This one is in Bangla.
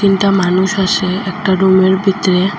দুইটা মানুষ আসে একটা রুমের ভিতরে।